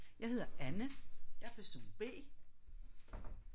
Jeg hedder Anne jeg er person B